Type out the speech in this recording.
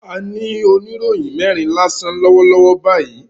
A ní oníròyìn mẹ́rin lásán lọ́wọ́ lọ́wọ́ báyìí